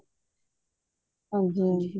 ਹਨਜੀ ਹਨਜੀ